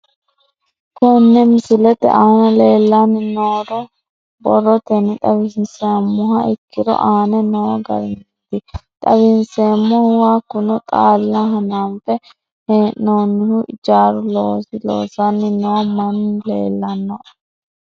Kone misilete aana leelanni nooro borrotenni xawisemoha ikiiro aane noo garinniti xawiseemohu hakunno xaala hananfe heenonihu ijaaru loosi loosanni noo manni leelanoe